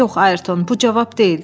Yox, Ayrton, bu cavab deyil.